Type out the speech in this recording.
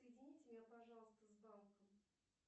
соедините меня пожалуйста с банком